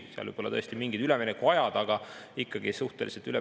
Seal võivad olla tõesti mingid üleminekuajad, aga ikkagi suhteliselt ülepeakaela.